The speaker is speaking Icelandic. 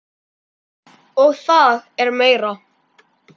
Og það er meira.